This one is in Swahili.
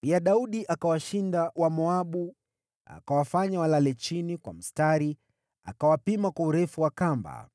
Pia Daudi akawashinda Wamoabu. Akawafanya walale chini kwa mstari akawapima kwa urefu wa kamba.